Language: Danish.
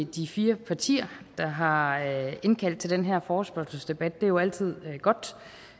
de fire partier der har indkaldt til den her forespørgselsdebat det er jo altid godt